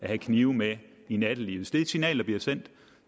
have knive med i nattelivet det signal der bliver sendt